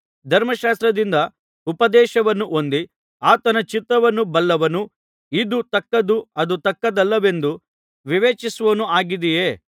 ಧರ್ಮಶಾಸ್ತ್ರದಿಂದ ಉಪದೇಶವನ್ನು ಹೊಂದಿ ಆತನ ಚಿತ್ತವನ್ನು ಬಲ್ಲವನೂ ಇದು ತಕ್ಕದ್ದು ಅದು ತಕ್ಕದ್ದಲ್ಲವೆಂದು ವಿವೇಚಿಸುವವನೂ ಆಗಿದ್ದೀಯೆ